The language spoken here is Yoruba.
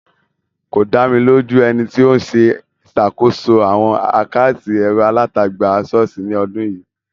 Kò dá mi lójú ẹni tí ó ń ṣàkóso àwọn àkátì ẹ̀rọ-alátagbà ṣọ́ọ̀ṣì ní ọdún yìí.